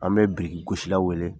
An bɛ biriki gosila weele